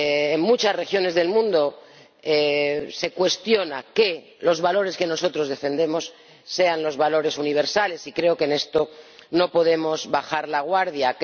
En muchas regiones del mundo se cuestiona que los valores que nosotros defendemos sean los valores universales, y creo que en esto no podemos bajar la guardia.